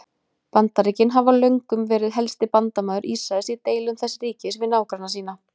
Bandaríkin hafa löngum verið helsti bandamaður Ísraels í deilum þess ríkis við nágranna sína.